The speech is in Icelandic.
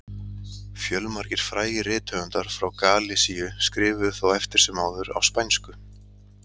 Fjölmargir frægir rithöfundar frá Galisíu skrifuðu þó eftir sem áður á spænsku.